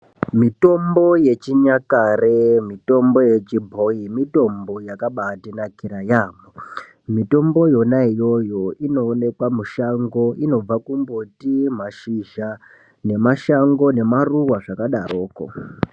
Mitombo yechinyakare, mitombo yechibhoi mitombo yakabatinakira yaamho. Mitombo yona iyoyo inoonekwa mushango. Inobva kumbuti mashizha, nemashango nemaruwa, zvakadaroko.